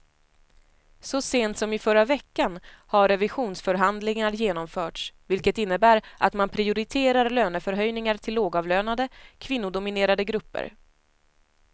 Så sent som i förra veckan har revisionsförhandlingar genomförts, vilket innebär att man prioriterar lönehöjningar till lågavlönade, kvinnodominerade grupper.